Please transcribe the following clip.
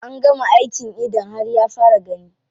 An gama aikin idon har ya fara gani.